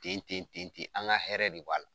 tenten ten an ka hɛrɛ de b'a la.